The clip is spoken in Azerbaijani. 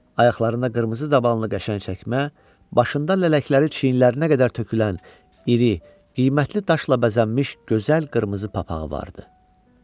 Ayaqlarına qırmızı dabana qəşəng çəkmə, başında lələkləri çiyinlərinə qədər tökülən iri, qiymətli daşla bəzənmiş gözəl qırmızı papağı var idi.